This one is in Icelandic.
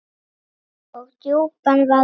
og djúpan vaða vog.